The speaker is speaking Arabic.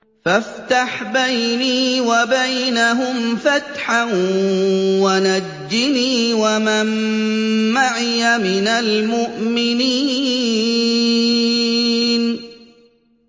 فَافْتَحْ بَيْنِي وَبَيْنَهُمْ فَتْحًا وَنَجِّنِي وَمَن مَّعِيَ مِنَ الْمُؤْمِنِينَ